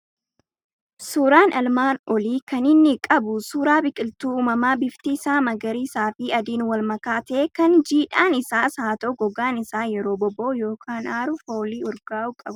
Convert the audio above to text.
Suuraan armaan olii kan inni qabu suuraa biqiltuu uumamaa bifti isaa magariisaa fi adiin wal makaa ta'e, kan jiidhaan isaas haa ta'u gogaan isaa yeroo boba'u yookaan aaru foolii urgaa'u qabudha.